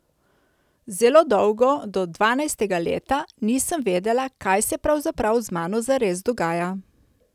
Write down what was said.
Zelo dolgo, do dvanajstega leta, nisem vedela kaj se pravzaprav z mano zares dogaja.